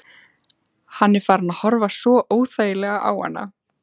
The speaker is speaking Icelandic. Hann er farinn að horfa svo óþægilega á hana.